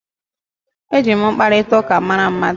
E ji mkparitauka mara mmadu